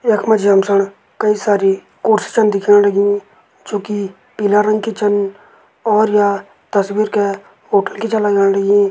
यख मजी हम सण कई सारी कोर्सी छन दिखेण लगीं जो की पीला रंग की छन और या तस्बीर कै होटल की छ लगाण लगीं।